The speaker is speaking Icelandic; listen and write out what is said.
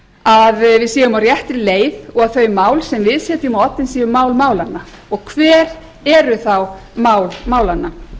að við séum á réttri leið og þau mál sem við setjum á oddinn séu mál málanna og hver eru þá mál málanna